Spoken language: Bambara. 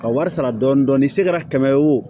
Ka wari sara dɔɔnin dɔɔnin se kɛra kɛmɛ ye o